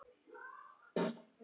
Hvað eruð þið að rugla?